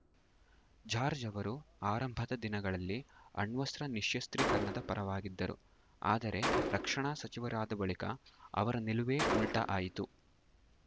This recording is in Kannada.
ಜಾರ್ಜ್ ಅವರು ಆರಂಭದ ದಿನಗಳಲ್ಲಿ ಅಣ್ವಸ್ತ್ರ ನಿಶ್ಯಸ್ತ್ರೀಕರಣದ ಪರವಾಗಿದ್ದರು ಆದರೆ ರಕ್ಷಣಾ ಸಚಿವರಾದ ಬಳಿಕ ಅವರ ನಿಲುವೇ ಉಲ್ಟಾಆಯಿತು